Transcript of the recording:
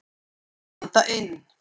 Anda inn.